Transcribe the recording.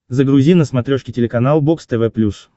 загрузи на смотрешке телеканал бокс тв плюс